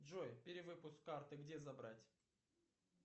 джой перевыпуск карты где забрать